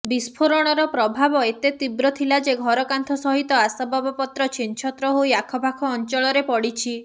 ବିସ୍ଫୋରଣର ପ୍ରଭାବ ଏବେ ତୀବ୍ର ଥିଲା ଯେ ଘରକାନ୍ଥ ସହିତ ଆସବାବପତ୍ର ଛିନ୍ଛତ୍ର ହୋଇ ଆଖପାଖ ଅଞ୍ଚଳରେ ପଡ଼ିଛି